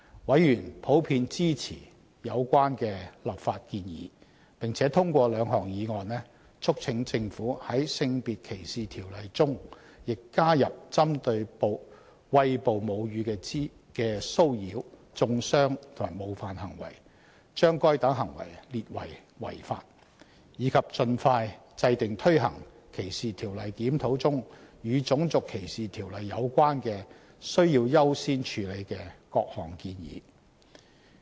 委員普遍支持有關的立法建議，並通過兩項議案，促請政府在《性別歧視條例》中亦加入針對餵哺母乳的騷擾、中傷及冒犯行為，將該等行為列為違法；以及盡快制訂推行歧視條例檢討中與《種族歧視條例》有關的需要優先處理的各項建議。